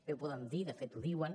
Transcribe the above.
bé ho poden dir de fet ho diuen